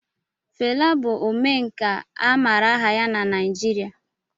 Fela bụ Omenkà a maara aha ya na Naijiria